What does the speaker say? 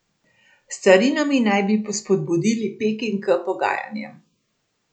S carinami naj bi spodbudili Peking k pogajanjem.